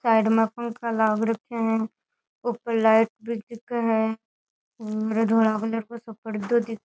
side में पंखा लाग रखिया है ऊपर लाइट भी दिखे है हम्म धोला कलर को सो पर्दो दिख --